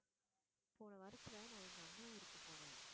போன வாரத்துல, நான் எங்க அண்ணன் ஊருக்கு போனேன்